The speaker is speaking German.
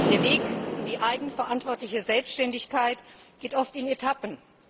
Der Weg in die eigenverantwortliche Selbständigkeit geht oft in Etappen.